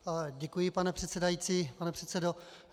Děkuji, pane předsedající, pane předsedo.